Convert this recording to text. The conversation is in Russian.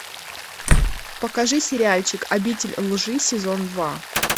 покажи сериальчик обитель лжи сезон два